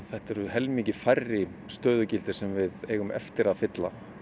þetta eru helmingi færri stöðugildi sem við eigum eftir að fylla